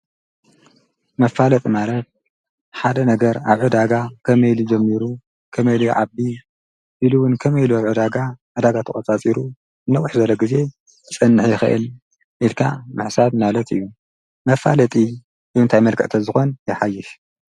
መፋለጥ ማለት ሓደ ነገር ኣብ ዕ ዳጋ ኸመይ ኢሊ ጀሚሩ ከመይ ኢሊ ይዓቢ ኢሉ እውን ከመይ ኢሉ ኣብዕ ዳጋ ኣዳጋ ተቖጻጺሩ ነውሕ ዘበለ ጊዜ ዝጸንሕ ይኽእል ኢልካ ምሕሳብ ማለት እዩ መፋለጢ ብምንታይ መልክዕ ተዝኾን የኃይሽ።